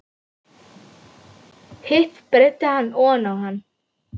Hitt breiddi hann oná hann.